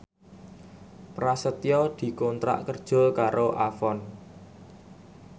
Prasetyo dikontrak kerja karo Avon